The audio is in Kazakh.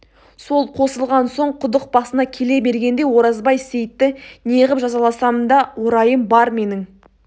сол қосылған соң құдық басына келе бергенде оразбай сейітті не ғып жазаласам да орайым бар менің